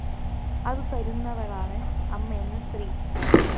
അതു തരുന്നവളാണ് അമ്മയെന്ന സ്ത്രീ